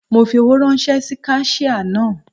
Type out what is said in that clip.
Mo fi owó ráńṣẹ́ sí kaṣíà náà.